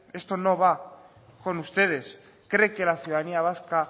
esto no va con ustedes cree que la ciudadanía vasca